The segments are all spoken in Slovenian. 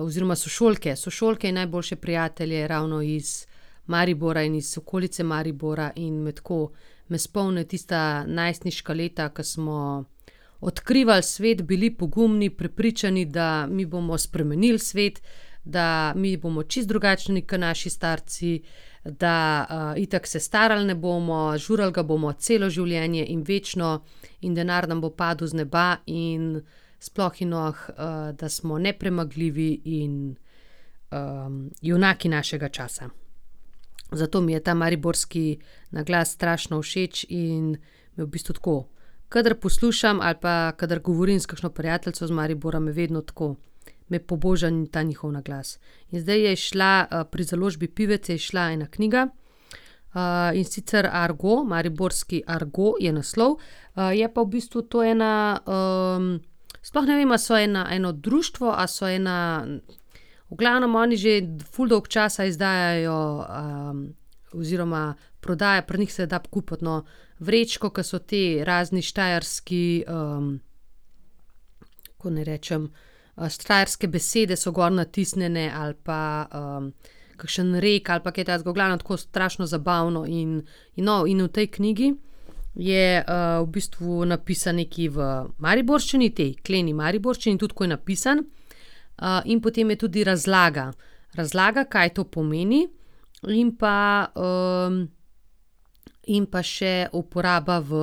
oziroma sošolke, sošolke in najboljše prijatelje ravno iz Maribora in iz okolice Maribora in me tako, me spomni tista najstniška leta, ke smo odkrivali svet, bili pogumni, prepričani, da mi bomo spremenili svet, da mi bomo čisto drugačni ke naši starci, da, itak se starali ne bomo, žurali ga bomo celo življenje in večno in denar nam bo padel z neba in sploh in, da smo nepremagljivi in, junaki našega časa. Zato mi je ta mariborski naglas strašno všeč in je v bistvu tako, kadar poslušam ali pa kadar govorim s kakšno prijateljico iz Maribora, me vedno tako, me poboža ta njihov naglas. In zdaj je izšla, pri založbi Pivec je izšla ena knjiga, in sicer argo, Mariborski argo je naslov, je pa v bistvu to ena, sploh ne vem, a so ena, eno društvo, a so ena ... V glavnem, oni že ful dolgo časa izdajajo, oziroma prodajajo, pri njih se da kupiti, no, vrečko, ke so te, razni štajerski, kako naj rečem, štajerske besede so gor natisnjene ali pa, kakšen rek ali pa kaj takega, v glavnem, tako strašno zabavno in ... No, in v tej knjigi je, v bistvu napisano nekaj v mariborščini, tej kleni mariborščini, tudi ko je napisano, in potem je tudi razlaga, razlaga, kaj to pomeni, in pa, in pa še uporaba v,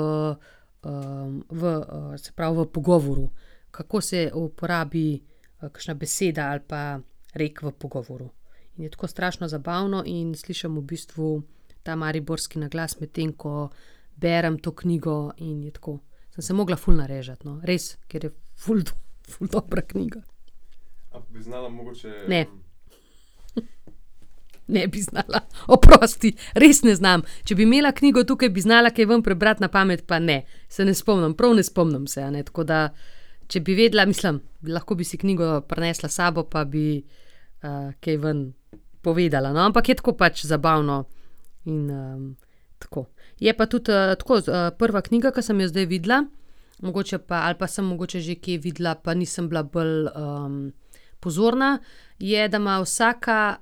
v, se pravi, v pogovoru, kako se uporabi, kakšna beseda ali pa rek v pogovoru. In je tako strašno zabavno in slišim v bistvu ta mariborski naglas, medtem ko berem to knjigo in tako. Sem se mogla ful narežati, no, res, ker je ful ful dobra knjiga. Ne. Ne bi znala, oprosti, res ne znam. Če bi imela knjigo tukaj, bi znala kaj ven prebrati, na pamet pa ne. Se ne spomnim, prav ne spomnim se, a ne, tako da če bi vedela, mislim, lahko bi si knjigo prinesla s sabo, pa bi, kaj ven povedala, no, ampak je tako pač, zabavno in, tako. Je pa tudi, tako prva knjiga, ke sem jo zdaj videla, mogoče pa, ali pa sem mogoče že kje videla, pa nisem bila bolj, pozorna, je, da ima vsaka,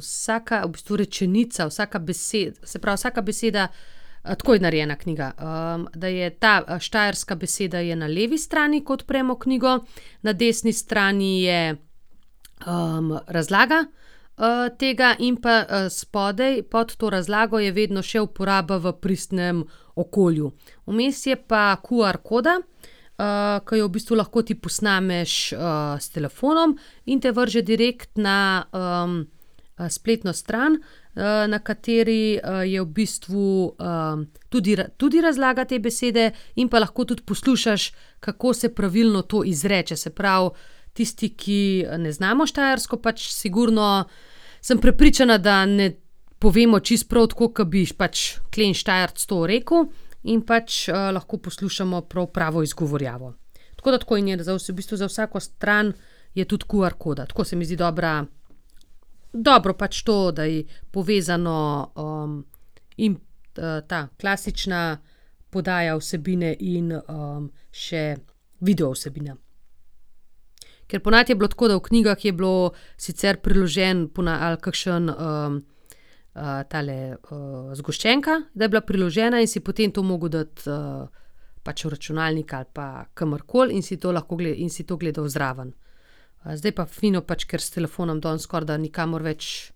vsaka, v bistvu rečenica, vsaka se pravi, vsaka beseda ... tako je narejena knjiga, da je ta, štajerska beseda je na levi strani, ko odpremo knjigo, na desni strani je, razlaga, tega in pa, spodaj, pod to razlago, je vedno še uporaba v pristnem okolju. Vmes je pa QR koda, ke jo v bistvu lahko ti posnameš, s telefonom, in te vrže direkt na, spletno stran, na kateri, je bistvu, tudi tudi razlaga te besede, in pa lahko tudi poslušaš, kako se pravilno to izreče, se pravi, tisti, ki ne znamo štajersko, pač sigurno sem prepričana, da ne povemo čisto prav, tako ke bi pač kleni Štajerec to rekel, in pač, lahko poslušamo prav pravo izgovorjavo. Tako da, tako, in je za vse, v bistvu za vsako stran je tudi QR koda, tako, se mi zdi dobra, dobro pač to, da je povezano, in, ta, klasična podaja vsebine in, še video vsebina. Ker ponavadi je bilo tako, da v knjigah je bilo sicer priloženo ali kakšen, tale, zgoščenka, da je bila priložena in si potem to mogel dati, pač v računalnik ali pa kamorkoli in si to lahko in si to gledal zraven. zdaj pa fino, pač ker s telefonom danes skorajda nikamor več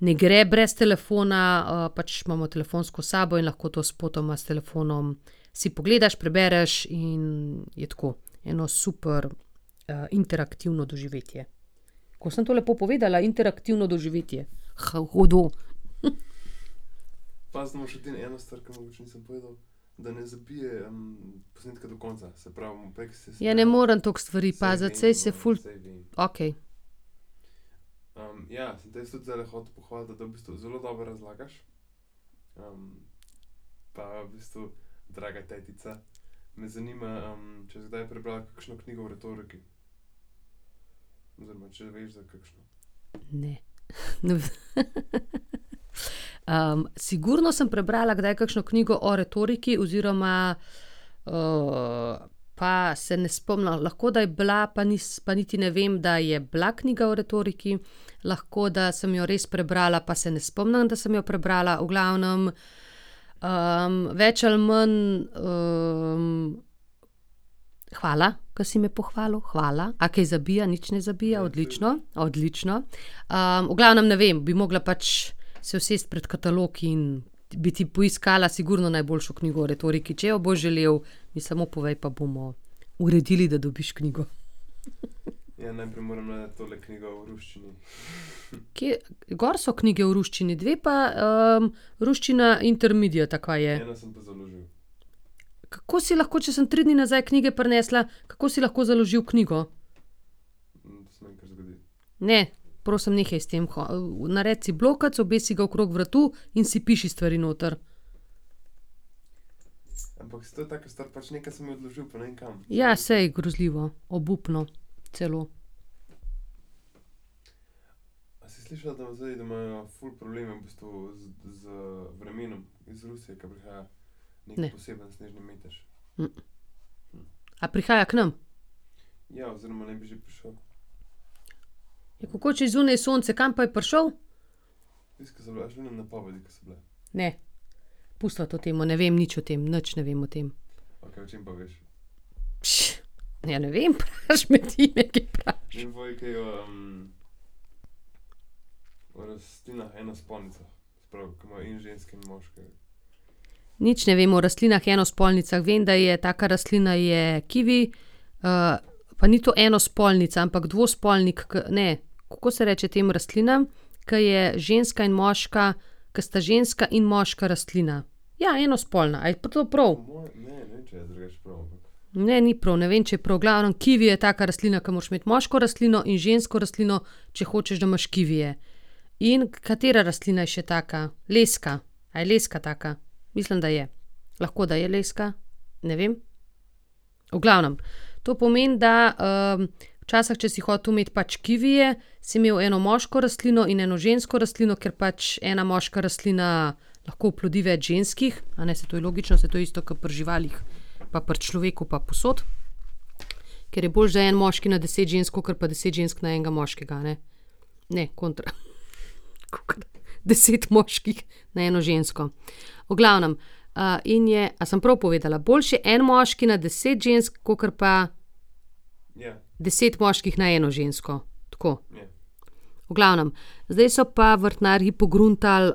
ne gre brez telefona, pač imamo telefonsko s sabo in lahko to spotoma s telefonom si pogledaš, prebereš in je tako eno super, interaktivno doživetje. Kako sem to lepo povedala, interaktivno doživetje. hudo, Ja, ne morem toliko stvari paziti, saj se ful ... Okej. Ne, . sigurno sem prebrala kdaj kakšno knjigo o retoriki oziroma ... pa se ne spomnim, lahko da je bila, pa pa niti ne vem, da je bila knjiga o retoriki, lahko, da sem jo res prebrala, pa se ne spomnim, da sem jo prebrala, v glavnem, več ali manj, ... Hvala, ke si me pohvalil, hvala, a kaj zabija, nič ne zabija, odlično, odlično. v glavnem, ne vem, bi mogla pač se usesti pred katalog in bi ti poiskala sigurno najboljšo knjigo o retoriki, če jo boš želel, mi samo povej, pa bomo uredili, da dobiš knjigo, . Kje, gor so knjige v ruščini, dve pa, Ruščina intermediate ali kaj je. Kako si lahko, če sem tri dni nazaj knjige prinesla, kako si lahko založil knjigo? Ne, prosim, nehaj s tem naredi si blokec, obesi si ga okrog vratu in si piši stvari noter. Ja, saj, grozljivo, obupno celo. Ne. A prihaja k nam? Ja, kako, če je zunaj sonce, kam pa je prišel? Ne. Pustiva to temo, ne vem nič o tem, nič ne vem o tem. ja, ne vem, pač me ti nekaj vprašaj. Nič ne vem o rastlinah enospolnicah, vem, da je, taka rastlina je kivi, pa ni to enospolnica, ampak dvospolnik, ke, ne ... Kako se reče tem rastlinam, ke je ženska in moška, ke sta ženska in moška rastlina? Ja, enospolna, a je pa to prav? Ne, ni prav, ne vem, če je prav, v glavnem, kivi je taka rastlina, ke moraš imeti moško rastlino in žensko rastlino, če hočeš, da imaš kivije. In katera rastlina je še taka, leska. A je leska taka? Mislim, da je. Lahko, da je leska, ne vem. V glavnem, to pomeni, da, včasih, če si hotel imeti pač kivije, si imel eno moško rastlino in eno žensko rastlino, ker pač ena moška rastlina lahko oplodi več ženskih, a ne, saj to je logično, saj to je isto ke pri živalih pa pri človeku pa povsod. Ker je boljše, da en moški na deset žensk kakor pa deset žensk na enega moškega, a ne. Ne, kontra, kakor deset moških na eno žensko. V glavnem, in je, a sem prav povedala? Boljše je en moški na deset žensk kakor pa deset moških na eno žensko, tako. V glavnem, zdaj so pa vrtnarji pogruntali,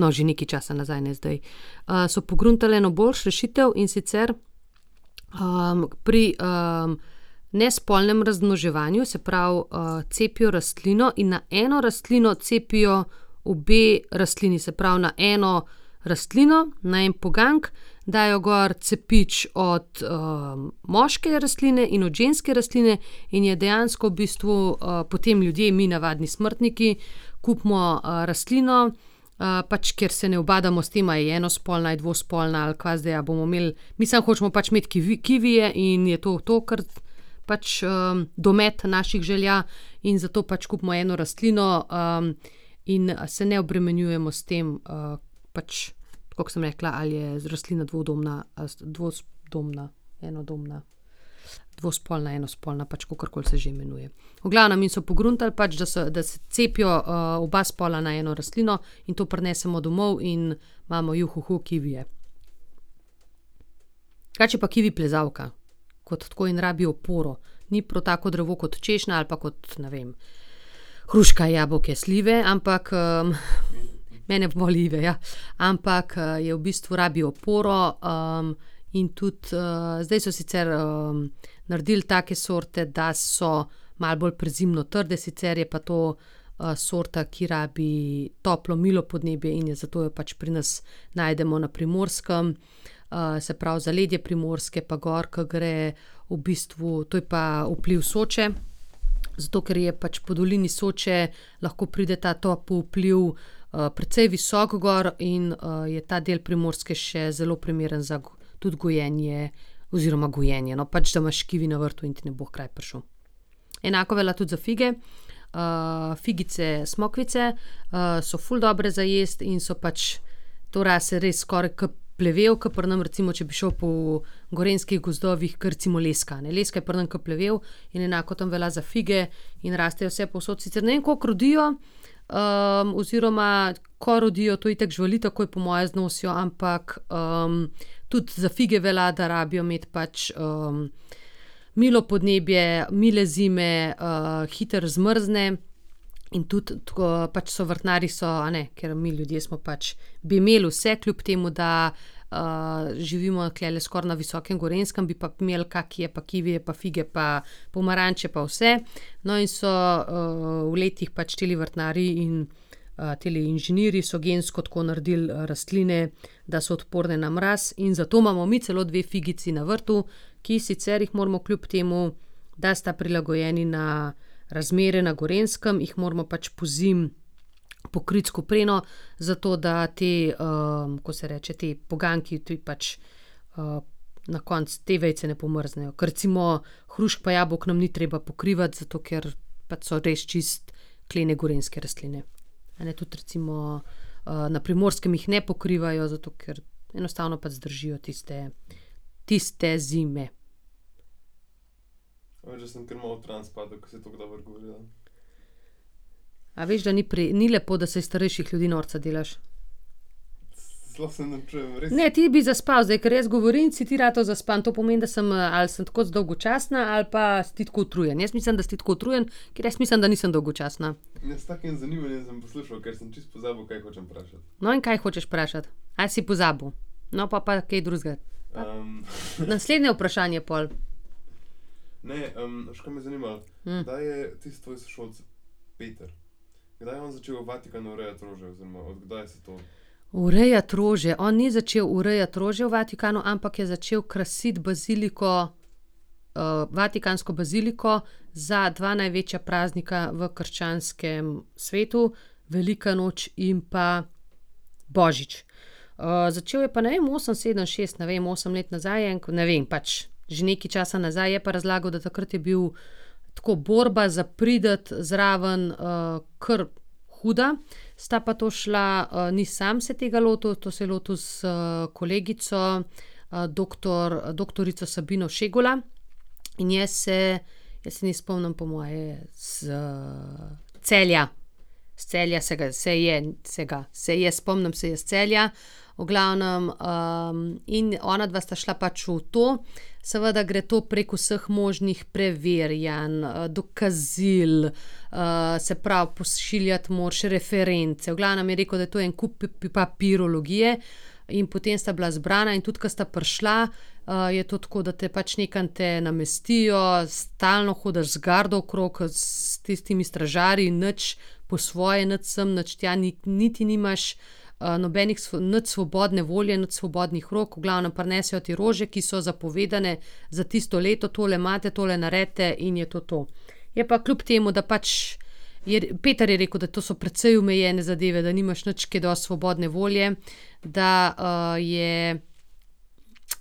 no, že nekaj časa nazaj, ne zdaj, so pogruntali eno boljšo rešitev, in sicer, pri, nespolnem razmnoževanju, se pravi, cepijo rastlino in na eno rastlino cepijo obe rastlini, se pravi na eno rastlino, na en poganjek dajo gor cepič od, moške rastline in od ženske rastline in je dejansko v bistvu, potem ljudje, mi, navadni smrtniki, kupimo, rastlino, pač, ker se ne ubadamo s tem, a je enospolna ali je dvospolna ali kva zdaj, a bomo imeli ... Mi samo hočemo pač imeti kivije in je to to, ker pač, domet naših želja, in zato pač kupimo eno rastlino, in, se ne obremenjujemo s tem, pač, tako kot sem rekla, ali je rastlina dvodobna, ali je dvosdobna, enodobna. Dvospolna, enospolna, pač kakorkoli se že imenuje. V glavnem, in so pogruntali pač, da da se cepijo, oba spola na eno rastlino, in to prinesemo domov in imamo, kivije. Drugače je pa kivi plezalka kot tako in rabi oporo. Ni prav tako drevo kot češnja ali pa kot, ne vem, hruška, jabolka, slive, ampak, ... Mene voli Ive, ja. Ampak, je v bistvu, rabi oporo, in tudi, zdaj so sicer, naredili take sorte, da so malo bolj prezimno trde, sicer je pa to, sorta, ki rabi toplo, milo podnebje, in je zato pač pri nas najdemo na Primorskem, se pravi, zaledje Primorske, pa gor, ke gre, v bistvu, to je pa vpliv Soče, zato ker je pač po dolini Soče lahko pride ta topel vpliv, precej visoko gor in, je ta del Primorske še zelo primeren za tudi gojenje oziroma gojenje, no, pač da imaš kivi na vrtu in ti ne bo h kraju prišel. Enako velja tudi za fige, figice, smokvice, so ful dobre za jesti in so pač ... To raste res skoraj ke plevel, ke pri nam, če bi šel po gorenjskih gozdovih, ke recimo leska, ne, leska je pri nas ke plevel, in enako tam velja za fige in rastejo vsepovsod, sicer ne vem, koliko rodijo, oziroma ko rodijo, to itak živali takoj po moje znosijo, ampak, tudi za fige velja, da rabijo imeti pač, milo podnebje, mile zime, hitro zmrzne, in tudi tako, pač so vrtnarji so, a ne, ker mi ljudje smo pač, bi imeli vse, kljub temu da, živimo tulele skoraj na visokem Gorenjskem, bi pa imeli kakije pa kivije pa fige pa pomaranče pa vse. No, in so, v letih pač tile vrtnarji in, tile inženirji so gensko tako naredili, rastline, da so odporne na mraz, in zato imamo mi celo dve figici na vrtu, ki sicer jih moramo kljub temu, da sta prilagojeni na razmere na Gorenjskem, jih moramo pač pozimi pokriti s kopreno, zato da te, kako se reče, ti poganjki, ti pač, na koncu te vejice ne pomrznejo. Ker recimo hrušk pa jabolk nam ni treba pokrivati, zato ker pač so res čisto klene gorenjske rastline. A ne, tudi recimo, na Primorskem jih ne pokrivajo, zato ker enostavno pač zdržijo tiste, tiste zime. A veš, da ni ni lepo, da se iz starejših ljudi norca delaš. Ne, ti bi zaspal zdaj, ker jaz govorim, si ti ratal zaspan, to pomeni, da sem, ali sem tako dolgočasna ali pa si ti tako utrujen, jaz mislim, da si ti tako utrujen, ker jaz mislim, da nisem dolgočasna. No, in kaj hočeš vprašati? Ali si pozabil? No, pol pa kaj drugega. Naslednje vprašanje pol. Urejati rože, on ni začel urejati rože v Vatikanu, ampak je začel krasiti baziliko, vatikansko baziliko za dva največja praznika v krščanskem svetu. Velika noč in pa božič. začel je pa, ne vem, osem, sedem, šest, ne vem, osem let nazaj je en ne vem, pač, že nekaj časa nazaj, je pa razlagal, da takrat je bil tako borba za priti zraven, kar huda, sta pa to šla, ni sam se tega lotil, to se je lotil s kolegico, doktor, doktorico Sabino Šegula, in jaz se, jaz se nje spomnim po moje iz Celja. Iz Celja se ga, se je, se ga, se je, spomnim se je iz Celja, v glavnem, in onadva sta šla pač v to. Seveda gre to prek vseh možnih preverjanj, dokazil, se pravi, pošiljati moraš reference, v glavnem, je rekel, da je to en kup papirologije, in potem sta bila izbrana, in tudi ke sta prišla, je to tako, da te pač, nekam te namestijo, stalno hodiš z gardo okrog ke s tistimi stražarji, nič po svoje, nič sem, nič tja niti nimaš, nobenih nič svobodne volje, nič svobodnih rok, v glavnem, prinesejo ti rože, ki so zapovedane za tisto leto, tole imate, tole naredite in je to to. Je pa kljub temu, da pač je, Peter je rekel, da to so precej omejene zadeve, da nimaš nič kaj dosti svobodne volje, da, je,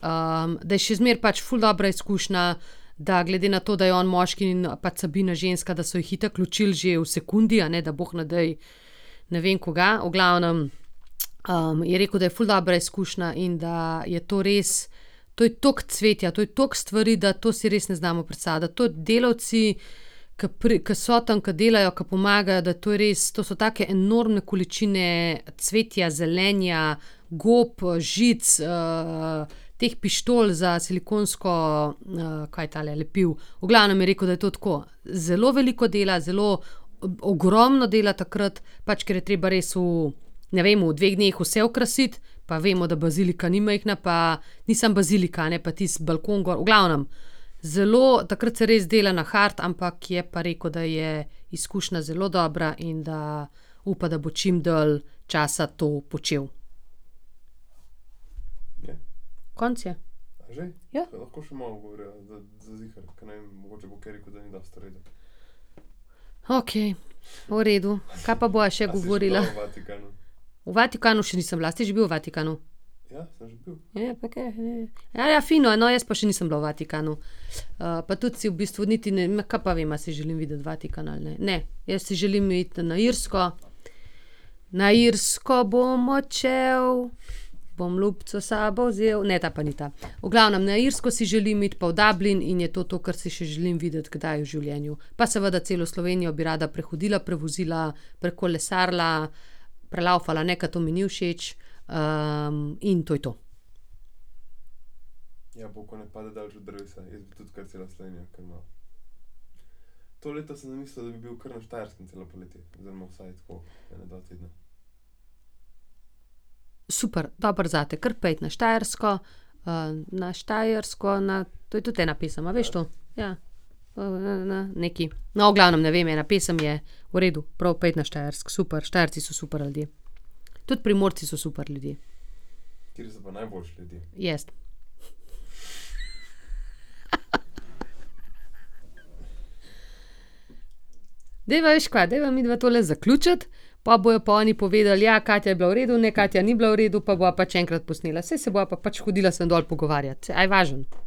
da je še zmeraj pač ful dobra izkušnja, da glede na to, da je on moški in, pač Sabina ženska, da so ju itak ločili že v sekundi, a ne, da bog ne daj ne vem kuga, v glavnem, je rekel, da je ful dobra izkušnja in da je to res, to je toliko cvetja, to je toliko stvari, da to si res ne znamo predstavljati, to delavci, ke ke so tam, ke delajo, ke pomagajo, da to je res, to so take enormne količine cvetja, zelenja, gob, žic, teh pištol za silikonsko, kaj je tale, lepilo, v glavnem, je rekel, da je to tako zelo veliko dela, zelo ogromno dela takrat, pač ker je treba res v ne vem, v dveh dneh vse okrasiti, pa vemo, da bazilika ni majhna pa ni samo bazilika, a ne, pa tisti balkon gor, v glavnem, zelo, takrat se res dela na hard, ampak je pa rekel, da je izkušnja zelo dobra in da upa, da bo čim dlje časa to počel. Konec je. Ja. Okej. V redu, kaj pa bova še govorila? V Vatikanu še nisem bila, a si ti že bil v Vatikanu? fino, no, jaz pa še nisem bila v Vatikanu. pa tudi si v bistvu niti ne, ma, kaj pa vem, a si želim videti Vatikan ali ne, ne, jaz si želim iti na Irsko, na Irsko bom odšel, bom ljubico s sabo vzel, ne, ta pa ni ta. V glavnem, na Irsko si želim iti, pa v Dublin in je to to, kar si še želim videti kdaj v življenju, pa seveda celo Slovenijo bi rada prehodila, prevozila, prekolesarila, prelavfala ne, ke to mi ni všeč, in to je to. Super, dobro zate, kar pojdi na Štajersko, na Štajersko, na ... To je tudi ena pesem a, veš to? Ja. , nekaj. No, v glavnem, ne vem, ena pesem je, v redu, prav, pojdi na Štajersko, super, Štajerci so super ljudje. Tudi Primorci so super ljudje. Jaz. Dajva, veš, kaj, dajva midva tole zaključiti, po bojo pa oni povedal: "Ja, Katja je bila v redu, ne, Katja ni bila v redu." Pa bova pač še enkrat posnela, saj se bova pa pač hodila sem dol pogovarjat se, a je važno?